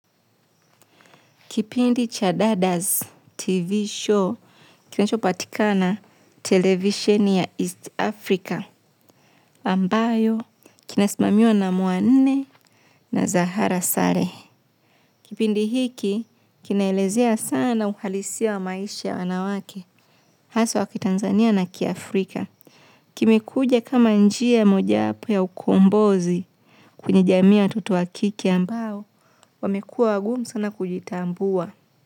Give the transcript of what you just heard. Kipindi cha Dadaz TV show kinachopatikana televisheni ya East Africa, ambayo kinasimamiwa na Mwanne na Zahra Salehe. Kipindi hiki kinaelezea sana uhalisia wa maisha ya wanawake, hasa wa kitanzania na kiafrika. Kimekuja kama njia mojawapo ya ukombozi kwenye jamii ya watoto wa kike ambao wamekuwa wagumu sana kujitambua.